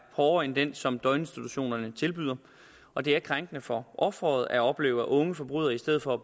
hårdere end den som døgninstitutionerne tilbyder og det er krænkende for offeret at opleve at unge forbrydere i stedet for